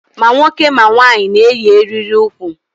Ma nwoke ma nwanyị na-eyi eriri ukwu.